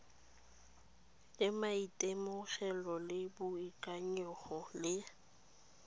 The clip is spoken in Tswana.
le maitemogelo le boikanyego le